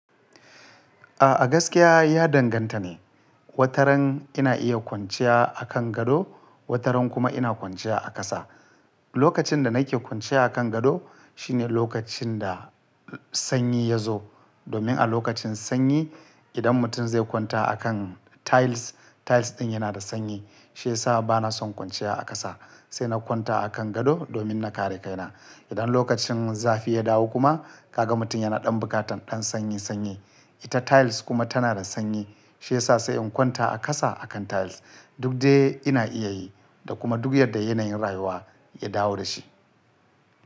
A'a gaskiya ya danganta ne. Wataran ina iya kwanciya a kan gado, wataran kuma ina kwanciya a ƙasa. Lokacin da nake kwanciya a kan gado shine lokacin da sanyi ya zo. Domin a lokacin sanyi idan mutum zai kwanta a kan tiles, tiles ɗin yana da sanyi. Shi ya sa bana son kwanciya a ƙasa sai na kwanta a kan gado domin na kare kaina. Idan lokacin zafi ya dawo kuma kaga mutum yana ɗan bukatar ɗan sanyi sanyi, ita tiles kuma tana da sanyi. Shi ya sa sai in kwanta a ƙasa a kan tiles. Duk dai ina iya yi da kuma duk yadda yanayin rayuwa ya dawo da shi.